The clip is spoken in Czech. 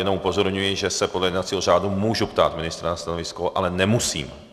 Jenom upozorňuji, že se podle jednacího řádu mohu ptát ministra na stanovisko, ale nemusím.